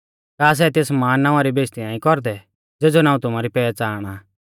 का सै तेस महान नावां री बेइज़्ज़ती नाईं कौरदै ज़ेज़ौ नाऊं तुमारी पैहच़ाण आ